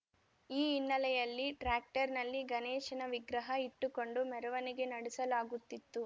ಈ ಹಿನ್ನೆಲೆಯಲ್ಲಿ ಟ್ರ್ಯಾಕ್ಟರ್‌ನಲ್ಲಿ ಗಣೇಶನ ವಿಗ್ರಹ ಇಟ್ಟುಕೊಂಡು ಮೆರವಣಿಗೆ ನಡೆಸಲಾಗುತ್ತಿತ್ತು